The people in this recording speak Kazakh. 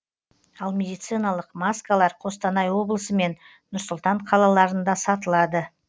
ал медициналық маскалар қостанай облысы мен нұр сұлтан қалаларында сатылады